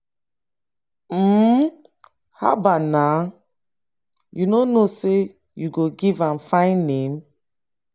mma haba naa! you no know say you go give am fine name.